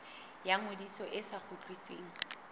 ya ngodiso e sa kgutlisweng